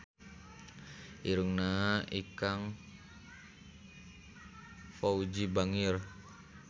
Irungna Ikang Fawzi bangir